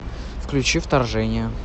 включи вторжение